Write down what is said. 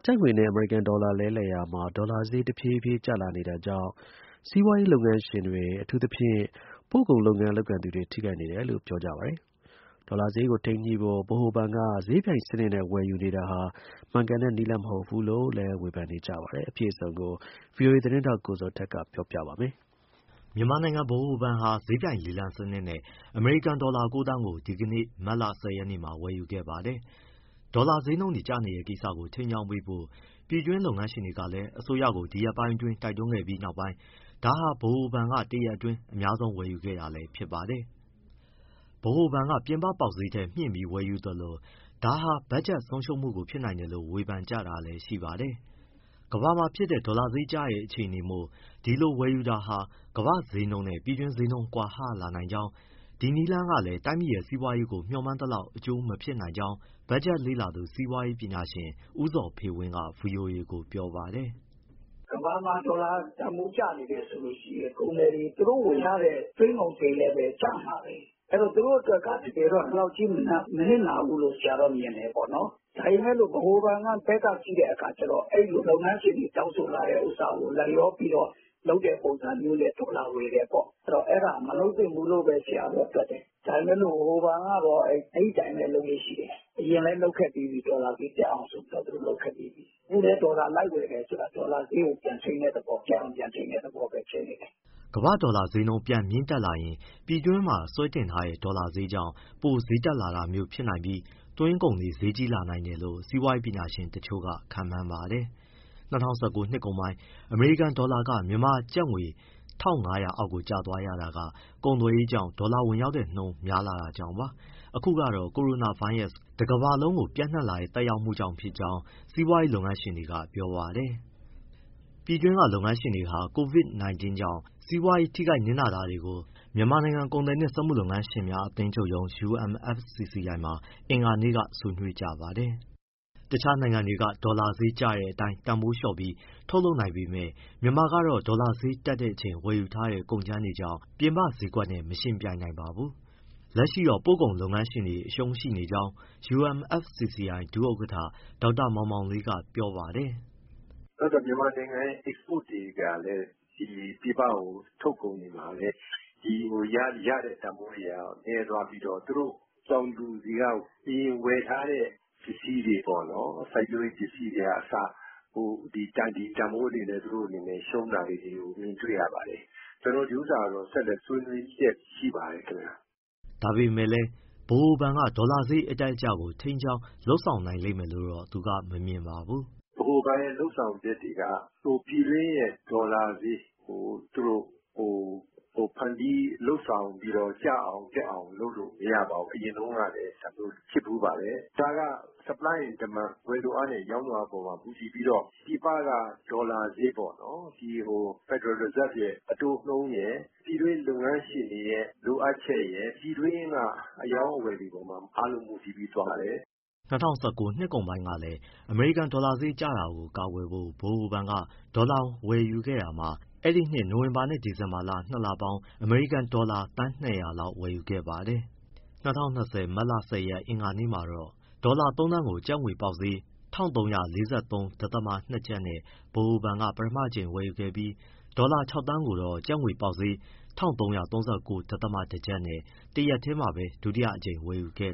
ကျပ်ငွေနဲ့ အမေရိကန်ဒေါ်လာ လဲလှယ်နှုန်းမှာ ဒေါ်လာဈေး တဖြည်းဖြည်း ကျလာနေတာကြောင့် စီးပွားရေး လုပ်ငန်း ရှင်တွေ၊ အထူးသဖြင့် ပို့ကုန်လုပ်ငန်း လုပ်ကိုင်သူတွေ ထိခိုက်နေတယ်လို့ ပြောကြပါတယ်။ ဒေါ်လာဈေးကို ထိန်းညှိဖို့ ဗဟိုဘဏ်က ဈေးပြိုင်စနစ်နဲ့ ဝယ်ယူနေတာဟာလည်း မှန်ကန်တဲ့နည်းလမ်းမဟုတ်ဘူးလို့ ဝေဖန်ကြပါတယ်။ အပြည့်အစုံကို ဗွီအိုအေ သတင်းထောက် ကိုဇော်ထက်က ဆက်ပြောပြပါမယ်။ မြန်မာနိုင်ငံဗဟိုဘဏ်ဟာ ဈေးပြိုင်လေလံစနစ်နဲ့ အမေရိကန်ဒေါ်လာ ၉ သန်းကို ဒီကနေ့ ဝယ်ယူခဲ့ပါတယ်။ ဒေါ်လာဈေးနှုန်းတွေကျနေတဲ့ ကိစ္စကို ထိန်းကြောင်းပေးဖို့ ပြည်တွင်းလုပ်ငန်းရှင်တွေကလည်း အစိုးရကို ဒီရက်ပိုင်းအတွင်းတိုက်တွန်းခဲ့ပြီးနောက်ပိုင်း ဒါဟာ ဗဟိုဘဏ်က တရက်အတွင်း အများဆုံး ဝယ်ယူခဲ့တာလည်း ဖြစ်ပါတယ်။ ဗဟိုဘဏ်က ပြင်ပပေါက်ဈေးထက် မြှင့်ပြီးဝယ်ယူသလို ဒါဟာ ဘက်ဂျက်ဆုံးရှုံးမှုဖြစ်နိုင်တယ်လို့ ဝေဖန်ကြတာလည်းရှိပါတယ်။ ကမ္ဘာမှာဖြစ်တဲ့ ဒေါ်လာဈေးကျနေတဲ့ အခြေအနေမို့ ဒီလိုဝယ်ယူတာဟာ ကမ္ဘာ့ဈေးနှုန်းနဲ့ ပြည်တွင်းဈေးနှုန်း ကွာဟလာနိုင်ကောင်း၊ ဒီနည်းလမ်းကလည်း တိုင်းပြည်ရဲ့ စီးပွားရေးကို မျှောမှန်းသလောက် အကျိုးမဖြစ်နိုင်ကြောင်း ဘက်ဂျက်လေ့လာသူ စီးပွားရေးပညာရှင် ဦးဇော်ဖေဝင်းက ဗွီအိုအေကို ပြောပါတယ်။ “ ကမ္ဘာမှာဒေါ်လာတန်ဖိုးကျနေတယ်ဆိုရင် ကုန်သည်တွေ သူတို့ဝယ်ရတဲ့ သွင်းကုန်ဈေးလည်း ကျမှာပဲ။ အဲဒီတော့ သူတို့အတွက်က ဒီလောက်ကြီး မနစ်နာဘူးလို့ ဆရာတော့မြင်တယ်။ ဒါပေမယ့် ဗဟိုဘဏ်ဘက်က ကြည့်တဲ့အခါကျတော့ လုပ်ငန်းရှင်တွေတောင်းဆိုလာတဲ့ဟာကို လိုက်လျောပြီးတော့ လုပ်တဲ့ပုံစံနဲ့ ဒေါ်လာဝယ်တယ်ပေါ့။ အဲဒါမလုပ်သင့်ဘူးလို့ဘဲ ဆရာတော့ တွက်တယ်။ ဒါပေမဲ့ ဗဟိုဘဏ်ကတော့ အဲဒီအတိုင်းပဲ လုပ်လေ့ရှိတယ်။ အရင်လည်းလုပ်ခဲ့ပြီးပြီး ဒေါ်လာဈေးတက်အောင် အဲအတိုင်းပဲ။ အခုလည်း ဒေါ်လာလိုက်ဝယ်ဆိုတာ ဒေါ်လာဈေးကို ပြန်ထိန်းတဲ့သဘော၊ တက်အောင် ပြန်ထိန်းတဲ့ သဘောပဲ ဖြစ်နေတယ်။” ကမ္ဘာ့ဒေါ်လာဈေးပြန်မြင့်တက်လာရင်၊ ပြည်တွင်းမှာ ဆွဲတင်ထားတဲ့ ဒေါ်လာဈေးကြောင့် ပိုဈေးတက်လာမျိုးဖြစ်နိုင်ပြီး သွင်းကုန်တွေ ဈေးကြီးလာနိုင်တယ်လို့ စီးပွားရေးပညာရှင်တချို့က ခန့်မှန်းပါတယ်။ ၂၀၁၉ နှစ်ကုန်ပိုင်း အမေရိကန်ဒေါ်လာက မြန်မာကျပ်ငွေ ၁၅၀၀ အောက်ကိုကျသွားရတာက ကုန်သွယ်ရေးကြောင့် ဒေါ်လာဝင်ရောက်တဲ့နှုန်း များလာတာကြောင့်ပါ။ အခုကတော့ ကိုရိုနာဗိုင်းရပ်စ် Covid- 19 တကမ္ဘာလုံးကို ပျံ့နှံ့လာတဲ့ သက်ရောက်မှုကြောင့် ဖြစ်ကြောင်း စီးပွားရေး လုပ်ငန်းရှင်တွေက ပြောပါတယ်။ ပြည်တွင်းကလုပ်ငန်းရှင်တွေဟာ Covid- 19 ကြောင့် စီးပွားရေး ထိခိုက်နစ်နာတာတွေကို မြန်မာနိုင်ငံ ကုန်သည်နှင့်စက်မှု၊ လက်မှု လုပ်ငန်းရှင်များ အသင်းချုပ်ရုံး UMFCCI မှာ အင်္ဂါနေ့က ဆွေးနွေးကြပါတယ်။ တခြားနိုင်ငံတွေက ဒေါ်လာဈေးကျတဲ့အတိုင်း တန်ဖိုးလျှော့ပြီး ထုတ်လုပ်နိုင်ပေမဲ့ မြန်မာကတော့ ဒေါ်လာဈေးတက်ချိန် ဝယ်ယူထားတဲ့ ကုန်ကြမ်းတွေကြောင့် ပြည်ပဈေးကွက်နဲ့ မယှဉ်ပြိုင်နိုင်ပါဘူး။ လက်ရှိတော့ ပို့ကုန်လုပ်ငန်းရှင်တွေ အရှုံးရှိနေကြောင်း UMFCCI ဒုဥက္ကဋ္ဌ ဒေါက်တာမောင်မောင်လေးက ပြောပါတယ်။ “နောက် မြန်မာနိုင်ငံရဲ့ အိတ်စပို့တွေကလည်း ပြည်ပကို ထုတ်ကုန်တွေမှာလည်း ရတဲ့ တန်ဖိုးတွေက နည်းသွားပြီးတော့ သူတို့ တောင်သူတွေက အရင်ဝယ်ထားတဲ့ ပစ္စည်းတွေပေါ့၊ စိုက်ပျိုးရေး ပစ္စည်းတွေကအစ ဒီတန်ဖိုးတွေနဲ့ သူတို့ ရှုံးတာလေးတွေကို မြင်တွေ့ရပါတယ်။ ကျနော်တို့ကတော့ ဒီဥစ္စာကတော့ ဆက်လက် ဆွေးနွေးလျက်ရှိပါတယ် ခင်ဗျ။” ဒါပေမဲ့လည်း ဗဟိုဘဏ်က ဒေါ်လာဈေး အတက်၊ အကျကို ထိန်းကြောင်း လုပ်ဆောင်နိုင်လိမ့်မယ်လို့တော့ သူကမမြင်ပါဘူး။ “ဗဟိုဘဏ်ရဲ့ လုပ်ဆောင်ချက်တွေက ပြည်တွင်းရဲ့ ဒေါ်လာဈေးကို သူတို့ ဖန်တီးလုပ်ဆောင်ပြီးတော့ ကျအောင်၊ တက်အောင်လုပ်လို့ မရပါဘူး။ အရင်တုန်းကလည်း ဒါမျိုးဖြစ်ဖူးပါတယ်။ ဒါက Supply and Demand ဝယ်လိုအားနဲ့ ရောင်းလိုအားအပေါ် မူတည်ပြီးတော့ ပြည်ပက ဒေါ်လာဈေးပေါ့နော် federal reserve ရဲ့ အတိုးနှုန်းရယ်၊ ပြည်တွင်းလုပ်ငန်းရှင်တွေရဲ့ လိုအပ်ချက်ရယ် ပြည်တွင်းက အရောင်းအဝယ်တွေအပေါ်မှာ အားလုံး မူတည်ပြီး သွားပါတယ်။” ၂၀၁၉ နှစ်ကုန်ပိုင်းကလည်း အမေရိကန်ဒေါ်လာဈေး ကျလာတာကို ကာကွယ်ဖို့ ဗဟိုဘဏ်က ဒေါ်လာငွေ ဝယ်ယူခဲ့တာမှာ အဲဒီနှစ် နိုဝင်ဘာနဲ့ ဒီဇင်ဘာလ ၂လပေါင်း အမေရိကန်ဒေါ်လာ သန်း ၂၀၀ လောက်ဝယ်ယူခဲ့ပါတယ်။ ၂၀၂၀ မတ်လ ၁၀ ရက် အင်္ဂါနေ့မှာတော့ ဒေါ်လာ ၃သန်းကို ကျပ်ငွေပေါက်ဈေး ၁၃၄၃.၂ ကျပ်နဲ့ ဗဟိုဘဏ်က ပထမအကြိမ်ဝယ်ယူပြီး၊ ဒေါ်လာ ၆ သန်းကိုတော့ ကျပ်ငွေပေါက်ဈေး ၁၃၃၉.၁ ကျပ်နဲ့ တရက်ထဲမှာပဲ ဒုတိယအကြိမ် ဝယ်ယူခဲ့